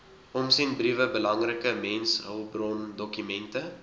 omsendbriewe belangrike mensehulpbrondokumente